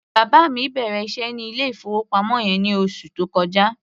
Bàbá mi bẹ̀rẹ̀ iṣẹ́ ní ilé-ìfowópamọ́ yẹn ní oṣù tó kọjá.